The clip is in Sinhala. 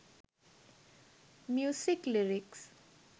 music lyrics